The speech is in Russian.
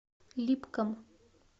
липкам